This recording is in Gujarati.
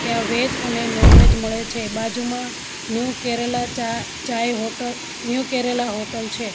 ત્યાં વેજ અને નોન વેજ મળે છે બાજુમાં ન્યૂ કેરેલા ચા ચાય હોટ ન્યૂ કેરેલા હોટલ છે.